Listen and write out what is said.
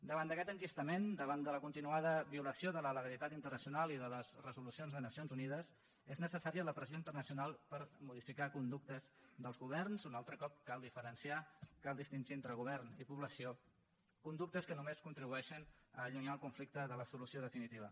davant d’aquest enquistament davant de la continuada violació de la legalitat internacional i de les resolucions de nacions unides és necessària la pressió internacional per modificar conductes dels governs un altre cop cal diferenciar cal distingir entre govern i població conductes que només contribueixen a allunyar el conflicte de la solució definitiva